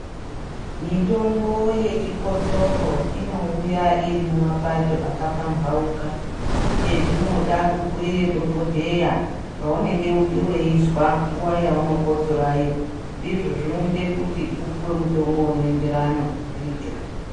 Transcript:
Mitombo yechikotsoro inouya irimumapato akapambauka , chezvinoda kubhuiire dhokodheya zvamunenge weizwa nguwa yaunokotsorayo ndizvo zvinoita upuwe mutombo unoenderana ndicho.